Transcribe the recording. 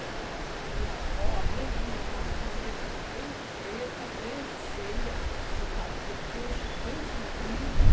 Eh a, então, a minha avó, a mãe da minha mãe, era uma nega bem preta, bem feia, do ca do queixo bem comprido.